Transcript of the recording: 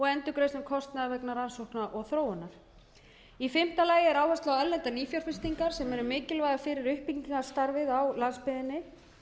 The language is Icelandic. endurgreiðslu kostnaðar vegna rannsókna og þróunar í fimmta lagi er áhersla á erlendar nýfjárfestingar sem eru mikilvægar fyrir uppbyggingarstarfið á landsbyggðinni